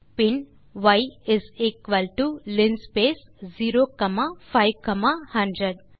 bin y is equal to linspace 0 comma 5 comma 100